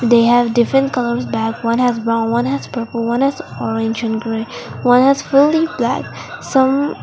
they have different colours bag one has brown one has purple one has orange and grey one has fully black some--